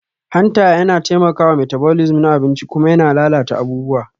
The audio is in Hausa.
Hanta yana taimakawa metabolism na abinci kuma yana lalata abubuwa